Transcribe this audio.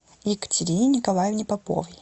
екатерине николаевне поповой